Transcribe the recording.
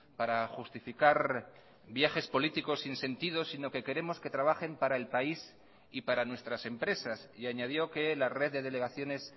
para justificar viajes políticos sin sentido sino que queremos que trabajen para el país y para nuestras empresas y añadió que la red de delegaciones